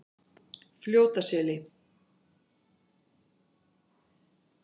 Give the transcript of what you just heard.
Fljótaseli